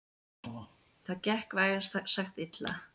Það gekk vægast sagt illa.